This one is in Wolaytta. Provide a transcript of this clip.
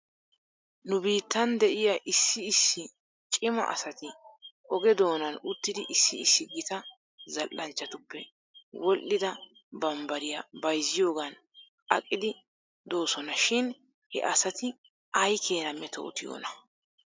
Nu biittan de'iyaa issi issi cima asati oge doonan uttidi issi issi gita zal'anchchatuppe wodhdhida bambbariyaa bayzziyoogan aqidi doosona shin he asati aykeenaa metootiyoonaa?